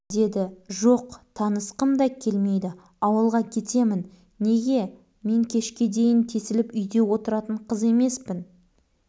деді жоқ танысқым да келмейді ауылға кетемін неге мен кешке дейін тесіліп үйде отыратын қыз емеспін